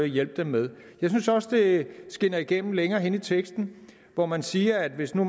hjælpe dem med jeg synes også det skinner igennem længere henne i teksten hvor man siger at hvis nu